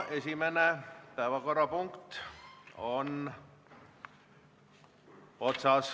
Esimene päevakorrapunkt on otsas.